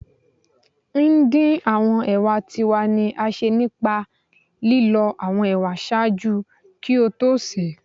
ndin awọn ewa ti wa ni a ṣe nipa lilọ awọn ewa ṣaaju ki o to se